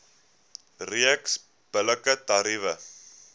reeks billike tariewe